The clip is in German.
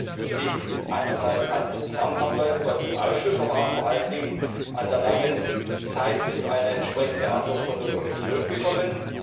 Das liegt einerseits an internen Abläufen bei uns im Ausschuss, aber auch vor allen Dingen an der langen Zeit, bis wir eine entsprechende Antwort von der Kommission bekommen.